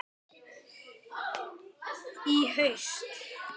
Í haust?